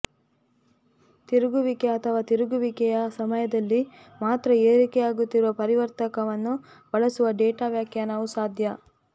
ತಿರುಗುವಿಕೆ ಅಥವಾ ತಿರುಗುವಿಕೆಯ ಸಮಯದಲ್ಲಿ ಮಾತ್ರ ಏರಿಕೆಯಾಗುತ್ತಿರುವ ಪರಿವರ್ತಕವನ್ನು ಬಳಸುವ ಡೇಟಾ ವ್ಯಾಖ್ಯಾನವು ಸಾಧ್ಯ